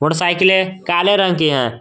और साइकिलें काले रंग की हैं।